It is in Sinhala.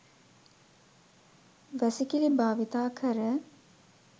වැසිකිලි භාවිතා කර